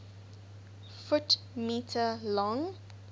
ft m long